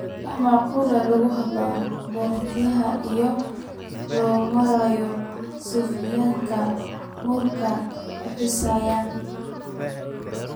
Macquul ah in lagu xidho bartaha iyada oo loo marayo sifooyinkan nuxurka khuseeya